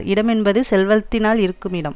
இடமென்பது செல்வத்தினால் இருக்குமிடம்